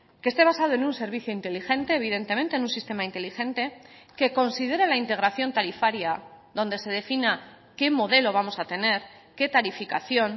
que esté basado en un servicio inteligente evidentemente en un sistema inteligente que considere la integración tarifaria donde se defina qué modelo vamos a tener qué tarificación